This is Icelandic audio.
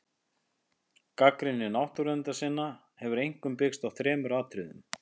Gagnrýni náttúruverndarsinna hefur einkum byggst á þremur atriðum.